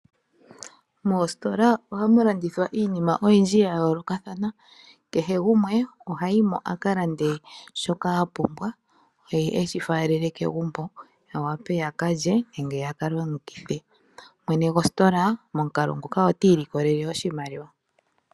Moositola ohamu landithwa iinima oyindji ya yoolokathana. Kehe gumwe oha yi mo a ka lande shoka a pumbwa, ye e shi faalele kegumbo ya wape ya ka lye nenge ya ka longithe. Momukalo nguka mwene gositola ota ilikolele oshimaliwa.